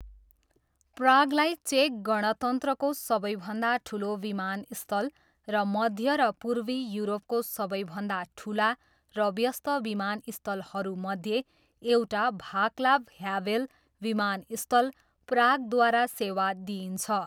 प्रागलाई चेक गणतन्त्रको सबैभन्दा ठुलो विमानस्थल र मध्य र पूर्वी युरोपको सबैभन्दा ठुला र व्यस्त विमानस्थलहरूमध्ये एउटा, भाक्लाभ ह्याभेल विमानस्थल, प्रागद्वारा सेवा दिइन्छ।